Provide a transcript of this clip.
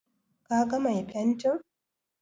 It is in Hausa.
Ka ga mai fentin?